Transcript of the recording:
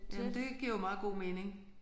Men det giver jo meget god mening